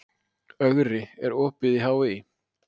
Ögri, er opið í HÍ?